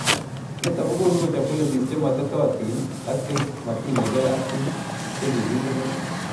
Nito kokonu kechob policies che maititootin ak che matiinyei biik che kikende let